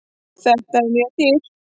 Þetta er mjög dýrt.